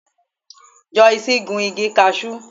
Joyce gun igi Cashew.